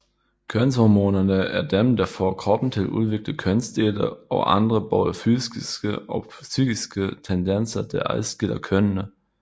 Kønshormonerne er dem der får kroppen til at udvikle kønsdele og andre både fysiske og psykiske tendenser der adskiller kønene